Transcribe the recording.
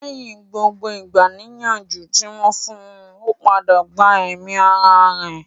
Lẹ́yìn gbogbo ìgbani-nìyànjú tí wọ́n fún un, ó padà gba ẹ̀mí ara rẹ̀